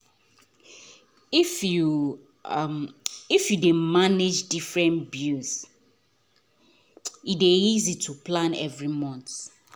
if you if you dey manage different bill e dey easy to plan every month